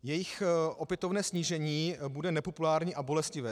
Jejich opětovné snížení bude nepopulární a bolestivé.